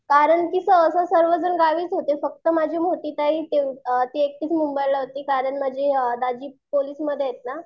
कारण की सहसा सर्व जण गावीच होते. फक्त माझी मोठी ताई तेवढी ती एकटीच मुंबईला होती कारण म्हणजे दाजी पोलिसमध्ये आहेत ना